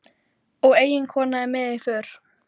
Og eiginkonan er með í för.